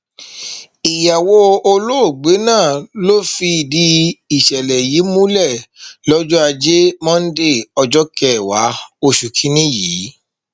ìyàwó olóògbé náà ló fìdí ìṣẹlẹ yìí múlẹ lọjọ ajé monde ọjọ kẹwàá oṣù kìínní yìí